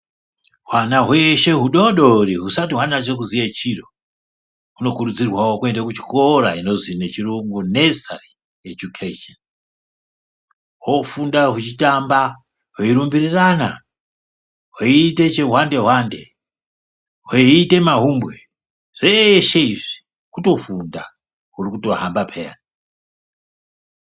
Hwana hweshe hudodori husati hwanase kuziye chiro hunokurudzirwawo kuende kuchikora chepashi-pashi hofunda hwechitamba, hwerumbirirana, hweitemahumbwe, hweitechihwandehwande zveshe izvi kutofunda hurikutohamba peya.